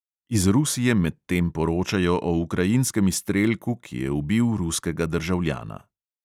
Iz rusije medtem poročajo o ukrajinskem izstrelku, ki je ubil ruskega državljana.